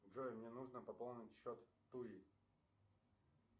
джой мне нужно пополнить счет туи